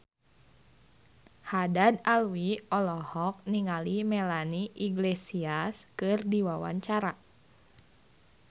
Haddad Alwi olohok ningali Melanie Iglesias keur diwawancara